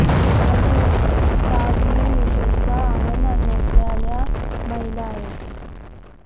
तरी ही उत्पादने विशेषतः आनंद नसलेल्या महिला आहेत